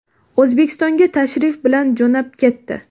O‘zbekistonga tashrif bilan jo‘nab ketdi.